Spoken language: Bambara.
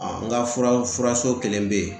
n ka fura ,fura so kelen be yen.